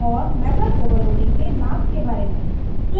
और method overloading के लाभ के बारे में